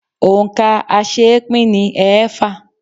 Òǹkà aṣeépín ni ẹẹ́fà.